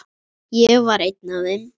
Ég var einn af þeim.